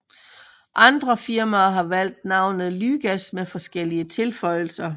Andre firmaer har valgt navnet lygas med forskellige tilføjelser